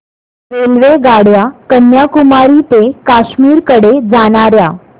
रेल्वेगाड्या कन्याकुमारी ते काश्मीर कडे जाणाऱ्या